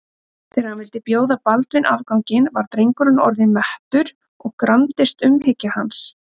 Þegar hann vildi bjóða Baldvin afganginn var drengurinn orðinn mettur og gramdist umhyggja hans.